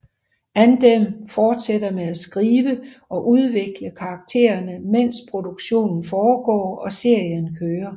Andem fortsætter med at skrive og udvikle karaktererne mens produktionen foregår og serien kører